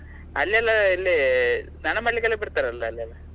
ಅಲ್ಲಿಯೆಲ್ಲಾ ಇಲ್ಲಿ ಸ್ನಾನ ಮಾಡ್ಲಿಕ್ಕೆಲ್ಲ ಬಿಡ್ತಾರಲ್ಲ?